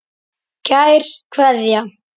Kær Kveðja.